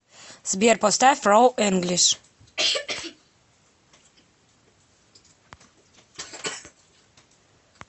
сбер поставь роу энглиш